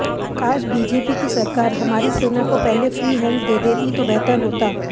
काश बीजेपी की सरकार हमारी सेना को पहले फ्री हैंड दे देती तो बेहतर होता